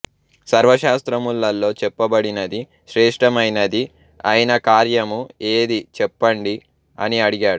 సర్వశాస్త్రములలో చెప్పబడినది శ్రేష్టమైనది అయిన కార్యము ఏదీ చెప్పండి అని అడిగాడు